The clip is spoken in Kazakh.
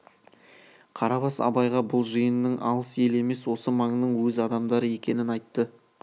қарабас абайға бұл жиынның алыс ел емес осы маңның өз адамдары екенін айтты